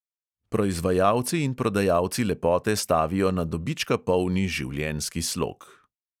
Proizvajalci in prodajalci lepote stavijo na dobička polni življenjski slog.